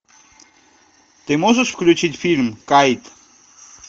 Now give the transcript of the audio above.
ты можешь включить фильм кайт